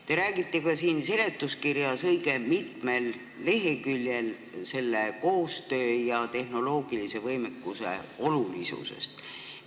Te räägite ka siin seletuskirjas õige mitmel leheküljel selle koostöö ja tehnoloogilise võimekuse olulisusest.